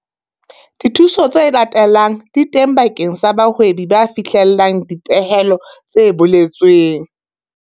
Dithuso tse latelang di teng bakeng sa bahwebi ba fihlellang dipehelo tse boletsweng.